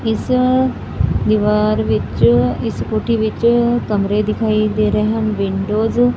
ਇਸ ਦੀਵਾਰ ਵਿੱਚ ਇਸ ਕੋਠੀ ਵਿੱਚ ਕਮਰੇ ਦਿਖਾਈ ਦੇ ਰਹੇ ਹਨ ਵਿੰਡੋਜ --